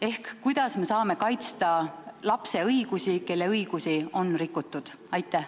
Ehk kuidas me saame kaitsta lapse õigusi, kelle õigusi on rikutud?